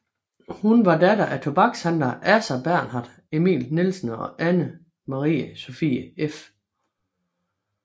Hun var datter af tobakshandler Assar Bernhard Emil Nielsen og Anna Marie Sophie f